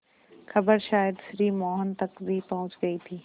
खबर शायद श्री मोहन तक भी पहुँच गई थी